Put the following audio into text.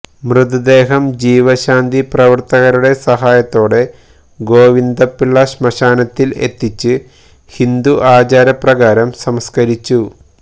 മൃതദേഹം ജീവശാന്തി പ്രവർത്തകരുടെ സഹായത്തോടെ ഗോവിന്ദപിള്ള ശ്മശാനത്തിൽ എത്തിച്ച് ഹിന്ദു ആചാരപ്രകാരം സംസ്കരിച്ചു